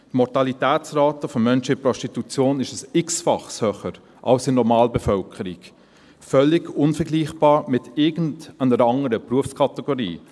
Die Mortalität von Menschen in der Prostitution ist um ein x-faches höher als in der Normalbevölkerung – völlig unvergleichbar mit irgendeiner anderen Berufskategorie.